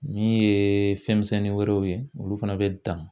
Min ye fɛn misɛnnin wɛrɛw ye olu fana bɛ dan